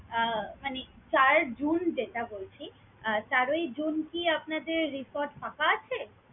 আহ মানে চার june যেটা বলছি, আহ চারই june কি আপনাদের resort ফাঁকা আছে?